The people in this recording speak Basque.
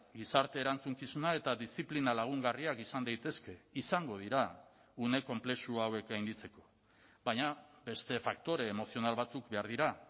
gizarte erantzukizuna eta diziplina lagungarriak izan daitezke izango dira une konplexu hauek gainditzeko baina beste faktore emozional batzuk behar dira